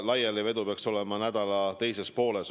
Laialivedu peaks olema nädala teises pooles.